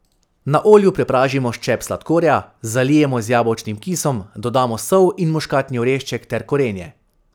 Na olju prepražimo ščep sladkorja, zalijemo z jabolčnim kisom, dodamo sol in muškatni orešček ter korenje.